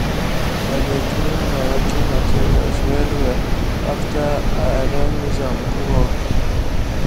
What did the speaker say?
i dey clean my working materials well well after i don use am do work